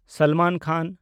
ᱥᱟᱞᱢᱟᱱ ᱠᱷᱟᱱ